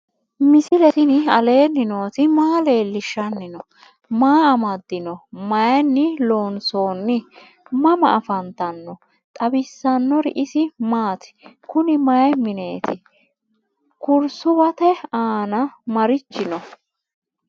misile tini alenni nooti maa leelishanni noo? maa amadinno? Maayinni loonisoonni? mama affanttanno? xawisanori isi maati? kunni may mineetti? kurisuwate aanna marichi noo?